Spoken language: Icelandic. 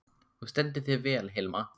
Þú stendur þig vel, Hilma!